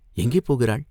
எங்கே போகிறாள்?